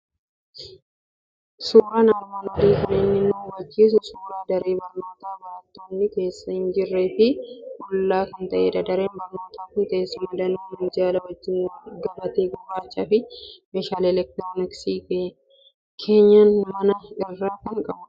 Suuraan armaan olii kan inni nu habachiisu suuraa daree barnootaa barattoonni keessa hin jirree fi qullaa kan ta'edha. Dareen barnootaa kun teessuma danuu minjaala wajjin, gabatee gurraachaa fi meeshaalee elektirooniksii keenyan manaa irraa kan qabudha.